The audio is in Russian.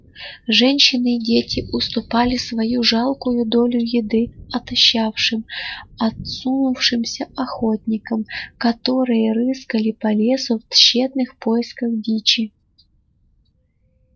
женщины и дети уступали свою жалкую долю еды отощавшим осунувшимся охотникам которые рыскали по лесу в тщетных поисках дичи